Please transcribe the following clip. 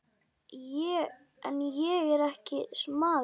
En ég er ekki smali.